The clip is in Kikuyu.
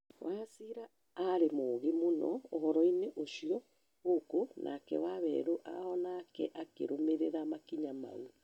Wachira arĩ mũũgĩ mũno ũhoro-inĩ ũcio gukũ nake waweru onake akĩrũmĩrĩra makinya maũ